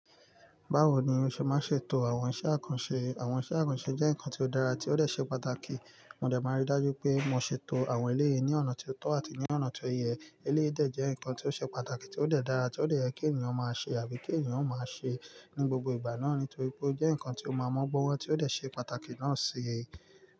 Báwo ni o ṣe máa ń ṣètò àwọn iṣẹ́ àkànṣe? Àwọn iṣẹ́ àkànṣe jẹ́ nǹkan tí ó dára, tí ó dẹ̀ ṣe pàtàkì. Mo dẹ̀ máa rí dájú pé mo ṣètò àwọn eléyìí ní ọ̀nà tí ó tọ́ àti ní ọ̀nà tí ó yẹ. Eléyìí dẹ̀ jẹ́ nǹkan tí ó ṣe pàtàkì, tí ó dẹ̀ dára, tí ó dẹ̀ yẹ kí ènìyàn máa ṣe àbí kí ènìyàn máa ṣe ní gbogbo ìgbà náà nítorí pé ó jẹ́ nǹkan tí ó máa mọ́gbọ́n, tí ó dẹ̀ ṣe pàtàkì náà ṣe.